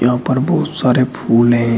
ऊपर बहुत सारे फूल है।